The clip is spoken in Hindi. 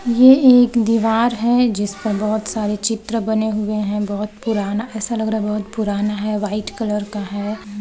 ये एक दिवार है जिस पर बहुत सारे चित्र बने हुए हैं बहुत पुराना ऐसा लग रहा है बहुत पुराना है वाइट कलर का है।